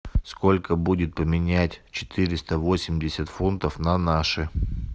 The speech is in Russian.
сколько будет поменять четыреста восемьдесят фунтов на наши